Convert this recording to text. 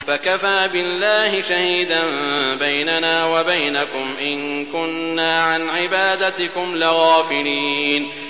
فَكَفَىٰ بِاللَّهِ شَهِيدًا بَيْنَنَا وَبَيْنَكُمْ إِن كُنَّا عَنْ عِبَادَتِكُمْ لَغَافِلِينَ